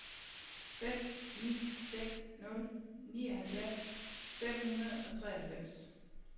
fem ni seks nul nioghalvfjerds fem hundrede og treoghalvfems